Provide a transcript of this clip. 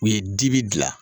U ye dibi dilan